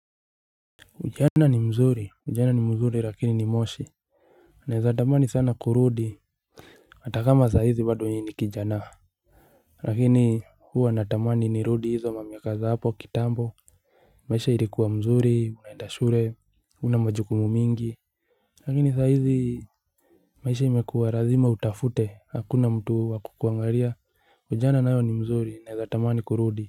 Ujana ni mzuri ujana ni mzuri lakini ni moshi naweza tamani sana kurudi hatakama saa hizi bado mimi ni kijana lakini huwa natamani ni rudi hizo mamiakaza za hapo kitambo. Maisha ilikuwa mzuri unaenda shule huna majukumu mingi lakini saa hizi maisha imekuwa lazima utafute hakuna mtu wakukuangalia ujana nao ni mzuri naweza tamani kurudi.